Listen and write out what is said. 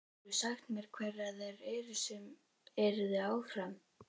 Geturðu sagt mér hverjar þær eru sem yrðu áfram?